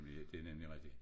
Det nemlig rigtig